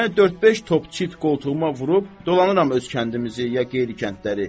Yəni dörd-beş top çit qoltuğuma vurub dolanıram öz kəndimizi ya qeyri kəndləri.